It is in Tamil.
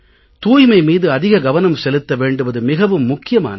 தூய்மை மீது அதிக கவனம் செலுத்த வேண்டுவது மிகவும் முக்கியமானது